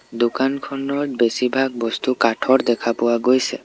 দোকানখনৰ বেছি ভাগ বস্তু কাঠৰ দেখা পোৱা গৈছে।